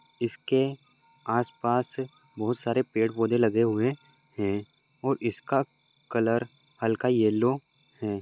इसके आस पास बहुत सारे पेड़ पौधे लगे हुए है और इसका कलर हलका येल्लो है।